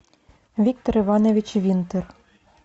виктор иванович винтер